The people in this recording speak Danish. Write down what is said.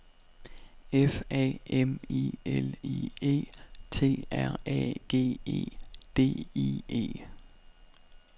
F A M I L I E T R A G E D I E